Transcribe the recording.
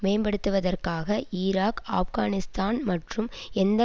மேம்படுத்துவதற்காக ஈராக் ஆப்கானிஸ்தான் மற்றும் எந்த